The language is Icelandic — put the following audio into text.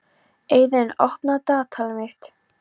Eiðunn, opnaðu dagatalið mitt.